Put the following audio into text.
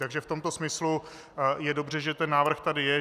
Takže v tomto smyslu je dobře, že ten návrh tady je.